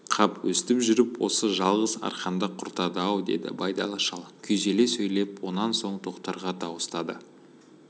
қап өстіп жүріп осы жалғыз арқанды құртады-ау деді байдалы шал күйзеле сөйлеп онан соң тоқтарға дауыстады